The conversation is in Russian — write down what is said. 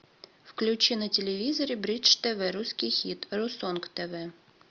включи на телевизоре бридж тв русский хит русонг тв